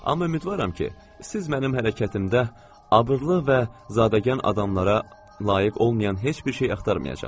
Amma ümidvaram ki, siz mənim hərəkətimdə abırlı və zadəgan adamlara layiq olmayan heç bir şey axtarmayacaqsınız.